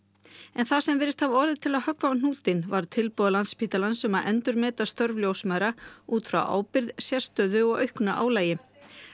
en það sem virðist hafa orðið til að höggva á hnútinn var tilboð Landspítalans um að endurmeta störf ljósmæðra út frá ábyrgð sérstöðu og auknu álagi